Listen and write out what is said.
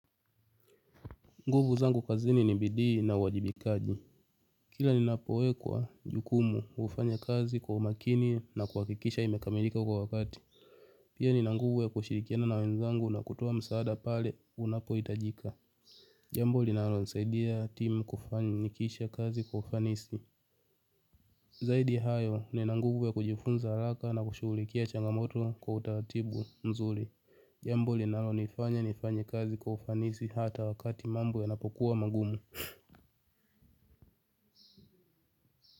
Nguvu zangu kazini ni bidii na uwajibikaji. Kila nina poekwa jukumu hufanya kazi kwa umakini na kuhakikisha imekamilika kwa wakati. Pia nina nguvu ya kushirikiana na wenzangu na kutoa msaada pale unapo hitajika. Jambo linalo saidia timu kufanikisha kazi kwa ufanisi. Zaidi hayo nina nguvu ya kujifunza haraka na kushughulikia changamoto kwa utaratibu mzuri. Jambo linalo nifanya nifanya kazi kwa ufanisi hata wakati mambo ya napokuwa magumu.